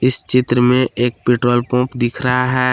इस चित्र में एक पेट्रोल पंप दिख रहा है।